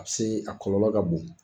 A bɛ se a kɔlɔlɔ ka bon.